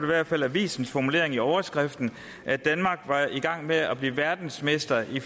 hvert fald avisens formulering i overskriften at danmark var i gang med at blive verdensmester i